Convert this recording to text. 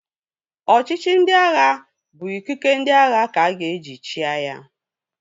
Ọchịchị ndị agha bụ ikike ndị agha ka-aga eji chịa ya